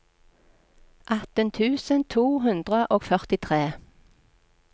atten tusen to hundre og førtitre